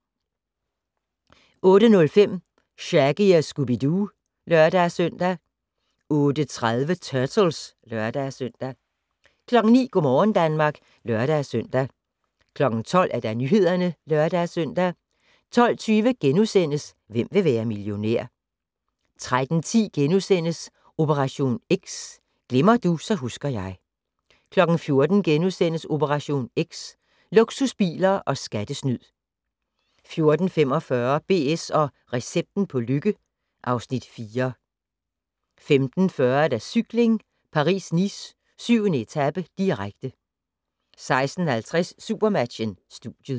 08:05: Shaggy & Scooby-Doo (lør-søn) 08:30: Turtles (lør-søn) 09:00: Go' morgen Danmark (lør-søn) 12:00: Nyhederne (lør-søn) 12:20: Hvem vil være millionær? * 13:10: Operation X: Glemmer du, så husker jeg * 14:00: Operation X: Luksusbiler og skattesnyd * 14:45: BS & recepten på lykke (Afs. 4) 15:40: Cykling: Paris-Nice - 7. etape, direkte 16:50: SuperMatchen: Studiet